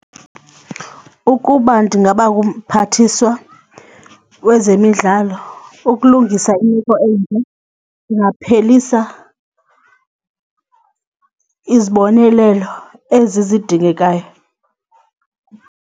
Ukuba ndingaba ngumphathiswa wezemidlalo ukulungisa imeko ndingaphelisa izibonelelo ezi zidingekayo.